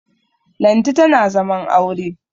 Lanti tana zaman aure